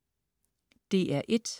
DR1: